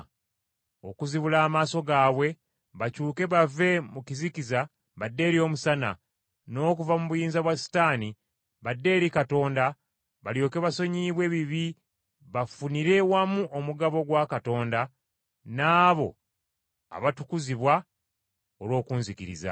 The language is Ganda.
okuzibula amaaso gaabwe bakyuke bave mu kizikiza badde eri omusana, n’okuva mu buyinza bwa Setaani, badde eri Katonda balyoke basonyiyibwe ebibi bafunire wamu omugabo gwa Katonda n’abo abatukuzibwa olw’okunzikiriza.’